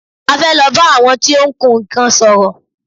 A fẹ́ lọ bá àwọn tí ó ń kun nnkan sòrò.